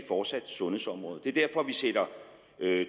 fortsat sundhedsområdet det er derfor vi sætter